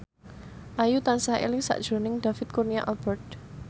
Ayu tansah eling sakjroning David Kurnia Albert